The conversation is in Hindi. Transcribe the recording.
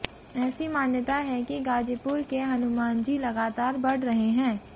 ऐसी मान्यता है कि गाजीपुर के हनुमानजी लगातार बढ़ रहे हैं